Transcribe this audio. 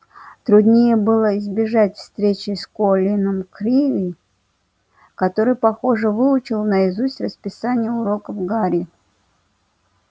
труднее было избежать встречи с колином криви который похоже выучил наизусть расписание уроков гарри